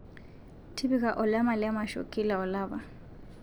tipika olama le masho kila olapa